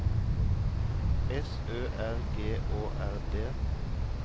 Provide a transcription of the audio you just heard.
S Ø R G Å R D